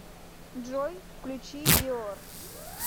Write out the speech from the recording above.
джой включи диор